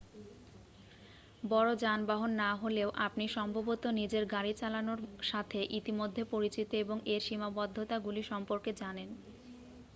বড় যানবাহন না হলেও আপনি সম্ভবত নিজের গাড়ি চালানোর সাথে ইতিমধ্যে পরিচিত এবং এর সীমাবদ্ধতাগুলি সম্পর্কে জানেন